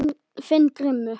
Þinn Grímur.